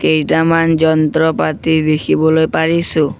কেইটামান যন্ত্ৰ পাতি দেখিবলৈ পৰিছোঁ।